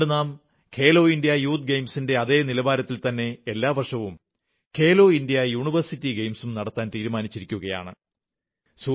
അതുകൊണ്ട് നാം Khelo India youth ഗെയിംസിന്റെ അതേ നിലവാരത്തിൽത്തന്നെ എല്ലാ വർഷവും ഖേലോ ഇന്ത്യാ യൂണിവേഴ്സിറ്റി ഗെയിംസും നടത്താൻ തീരുമാനിച്ചിരിക്കയാണ്